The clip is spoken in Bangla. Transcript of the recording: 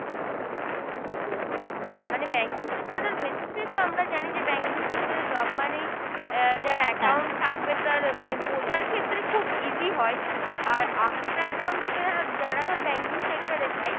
আহ মানে banking sector এর তো আমরা জানি যে banking sector এ job মানেই আহ যার account থাকবে তার মানে বোঝার ক্ষেত্রে খুব easy হয়, আর arts থেকে যারা যারা ধর banking sector এ যায়